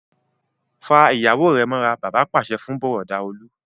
Fa ìyàwó rẹ mọ́ra! Bàbá pàṣẹ fún Bùrọ̀dá Olú.